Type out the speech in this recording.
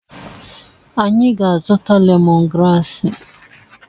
Anyị ga-azụta lemon graasị.